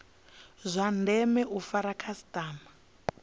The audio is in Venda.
zwa ndeme u fara khasitama